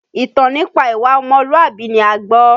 Ìtàn nípa ìwà ọmọlùwàbí ni a gbọ́.